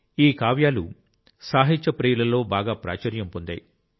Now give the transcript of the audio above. ఈ కావ్యాలు సాహిత్య ప్రియులలో బాగా ప్రాచుర్యం పొందాయి